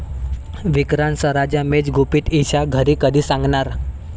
विक्रांत सरंजामेचं गुपित ईशा घरी कधी सांगणार?